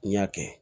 N y'a kɛ